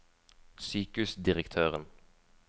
sykehusdirektøren